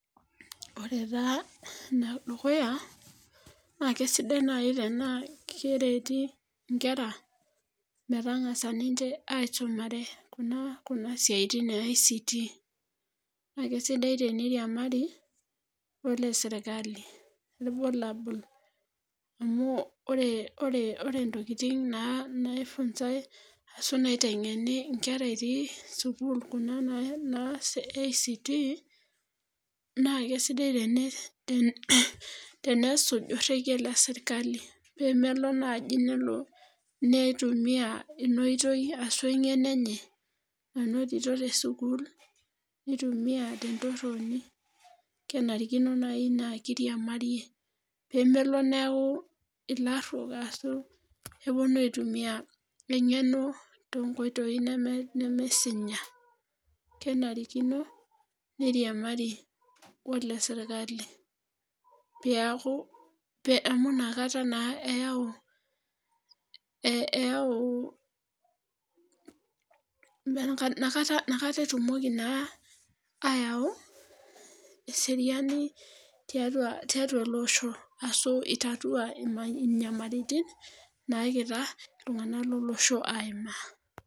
Ore taa ene dukuya naa kisidai naaji tenaa kereti inkera metangasa ninche aisumare Kuna siatin e ICT.naakisidai teneiriamari onesirkali. iyiolo amu ore ntokitin naaifunsae ashu nitengeni nkera etii sukuul, Kuna naa e ICT naa kisidai tenesuj orekie le sirkali. pee melo naaji nelo neitumia Ina oitoi ashu engeno enye. nanotito te sukuul, nitumia te ntoroni. kenarikino naaji naa kiriamariyie. pee melo neeku ilarutok ashu epuonu aitumia engeno too nkoitoi nemesinya. kenarikino neiriamari oldsirkali